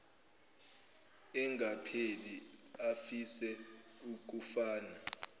engapheli afise ukufana